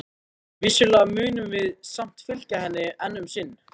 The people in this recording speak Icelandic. Vissulega munum við samt fylgja henni enn um sinn.